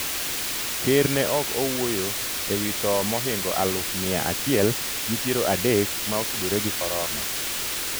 ker ne ok owuoyo ewi tho mohingo aluf miya achiel gi piero adek ma otudore gi korona